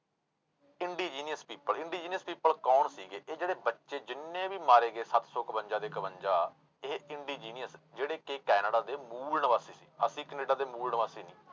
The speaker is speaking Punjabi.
Indigenous people, indigenous people ਕੌਣ ਸੀਗੇ ਇਹ ਜਿਹੜੇ ਬੱਚੇ ਜਿੰਨੇ ਵੀ ਮਾਰੇ ਗਏ ਸੱਤ ਸੌ ਇਕਵੰਜਾ ਦੇ ਇਕਵੰਜਾ ਇਹ indigenous ਜਿਹੜੇ ਕਿ ਕੈਨੇਡਾ ਦੇ ਮੂਲ ਨਿਵਾਸੀ ਸੀ ਅਸੀਂ ਕੈਨੇਡਾ ਦੇ ਮੂਲ ਨਿਵਾਸੀ ਨਹੀਂ।